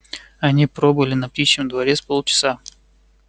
они пробыли на птичьем дворе с полчаса